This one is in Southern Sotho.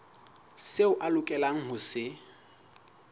seo a lokelang ho se